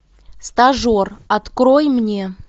стажер открой мне